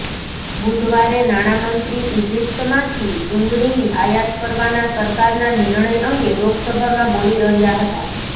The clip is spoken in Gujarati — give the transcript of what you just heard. બુધવારે નાણાંમંત્રી ઇજિપ્તમાંથી ડુંગળીની આયાત કરવાના સરકારના નિર્ણય અંગે લોકસભામાં બોલી રહ્યાં હતાં